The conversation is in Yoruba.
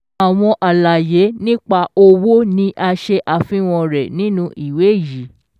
Àwọn àlàyé nípa owó ni a se àfihàn re nínú Ìwé yi.